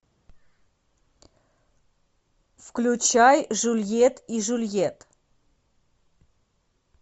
включай жюльет и жюльет